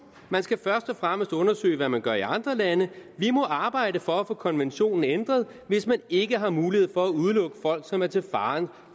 man skal først og fremmest undersøge hvad man gør i andre lande vi må arbejde for at få konventionen ændret hvis man ikke har mulighed for at udelukke folk som er til fare